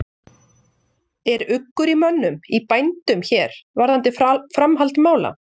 Er uggur í mönnum, í bændum hér varðandi framhald mála?